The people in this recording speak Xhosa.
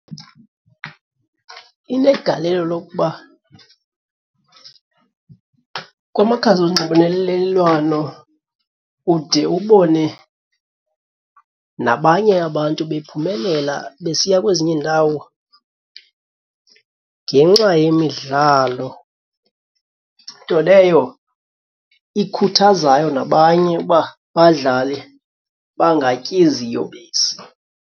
Inegalelo lokuba kwamakhasi onxibelelelwano ude ubone nabanye abantu bephumelela besiya kwezinye iindawo ngenxa yemidlalo, nto leyo ikhuthazayo nabanye uba badlale bangatyi ziyobisi.